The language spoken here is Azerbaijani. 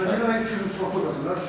Deməli ki, mən 200 sot tutdum məsələn.